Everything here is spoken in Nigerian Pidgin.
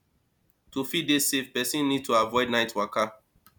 to fit dey safe person need to avoid night waka